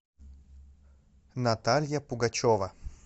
наталья пугачева